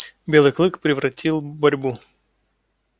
белый клык превратил борьбу